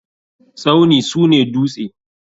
Tsauni sune duste.